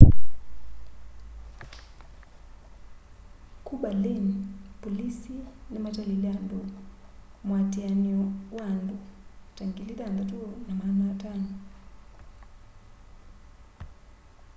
ku berlin polisi nimatalile andu muatianio wa andu ta 6,500